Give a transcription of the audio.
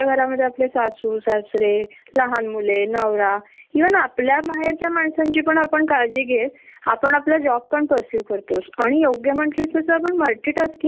अग ट्राफिक चा प्रोब्लेम तर इतका आहे न मी जॉब करत होते न तर प्रेगेनेशी च मल इथन नगर रोड ला जायला दोन दोन तास लागायचे प्रचंड ट्राफिक